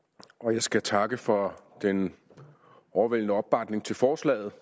jeg skal takke for den overvældende opbakning til forslaget